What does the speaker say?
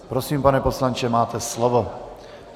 Prosím, pane poslanče, máte slovo.